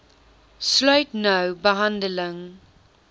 sluit nou behandeling